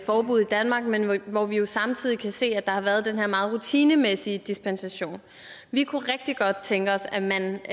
forbud i danmark men men hvor vi jo samtidig kan se at der har været den her meget rutinemæssige dispensation vi kunne rigtig godt tænke os at man